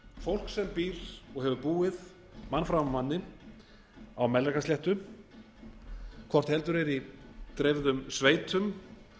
fólk sem býr og hefur búið mann fram af manni á melrakkasléttu hvort heldur er í dreifðum sveitum